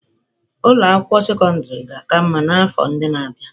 Ụlọ akwụkwọ sekọndrị ga-aka mma n'afọ ndị na-abịa.